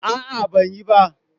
A'a, ban yi ba.